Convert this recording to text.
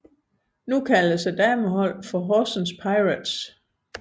Nu kaldes dameholdet for Horsens Pirates